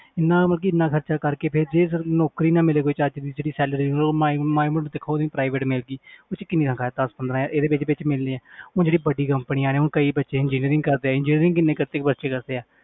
ਇੰਨਾ ਮਤਲਬ ਕਿ ਇੰਨਾ ਖ਼ਰਚਾ ਕਰਕੇ ਫਿਰ ਜੇ ਨੌਕਰੀ ਨਾ ਮਿਲੇ ਕੋਈ ਚੱਜ ਦੀ ਜਿਹੜੀ salary ਮਾੜੀ ਮੋਟੀ ਦੇਖੋ ਉਹ ਵੀ private ਮਿਲ ਗਈ ਉਹਦੇ 'ਚ ਕਿੰਨੀਆਂ ਕੁ ਹੈ ਦਸ ਪੰਦਰਾਂ ਇਹਦੇ ਵਿੱਚ ਵਿੱਚ ਮਿਲਣੀ ਹੈ ਹੁਣ ਜਿਹੜੀ ਵੱਡੀ companies ਨੇ ਹੁਣ ਕਈ ਬੱਚੇ engineering ਕਰਦੇ ਆ engineering ਕਿੰਨੀ ਬੱਚੇ ਕਰਦੇ ਆ